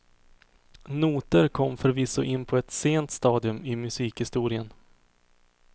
Noter kom förvisso in på ett sent stadium i musikhistorien.